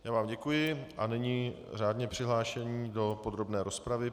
Já vám děkuji a nyní řádně přihlášení do podrobné rozpravy.